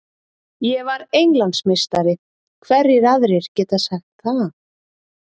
Ég var Englandsmeistari, hverjir aðrir geta sagt það?